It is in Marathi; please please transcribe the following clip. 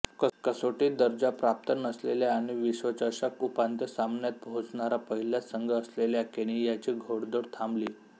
कसोटी दर्जा प्राप्त नसलेल्या आणि विश्वचषक उपांत्य सामन्यात पोहोचणारा पहिलाच संघ असलेल्या केनियाची घोडदौड थांबली